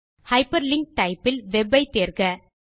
hyperlink type இல் web ஐ தேர்க